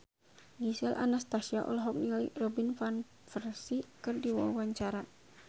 Gisel Anastasia olohok ningali Robin Van Persie keur diwawancara